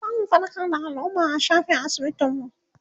zamu faɗakar da alumma a shafin asibitin mu